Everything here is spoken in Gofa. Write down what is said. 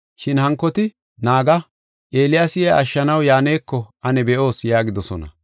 Shin hankoti, “Naaga, Eeliyaasi iya ashshanaw yaaneko ane be7oos” yaagidosona.